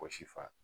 Wɔsi fa